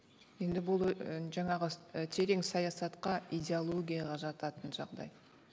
енді бұл жаңағы і терең саясатқа идеологияға жататын жағдай